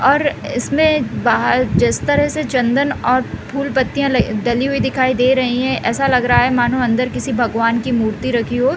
और इसमें बाहर जिस तरह से चन्दन और फूल पत्तियाँ डली हुई दिखाई दे रही है ऐसा लग रहा है मनो अंदर किसी भगवन की मूर्ति रखी हो।